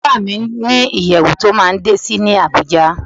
Ọ̀gá mi ní ìyẹ̀wù tí ó máa ń dé sí ní Àbújá.